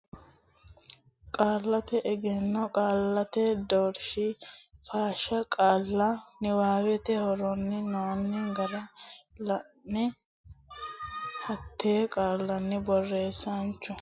Qaallate Egenno Qaallate Doorshi Fatilsha qaalla niwaawete horonsi noonni gara la ine hattenne qaallanni borreessaanchu saysara hasi rino sokka maatiro lame lame ikkitine hasaabbe.